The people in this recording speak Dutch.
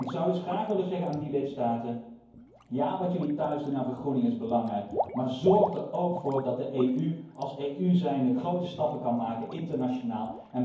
Ik zou dus graag willen zeggen aan die lidstaten 'Ja, wat jullie thuis doen aan vergroening is belangrijk, maar zorg er ook voor dat de EU als EU grote stappen kan maken, internationaal.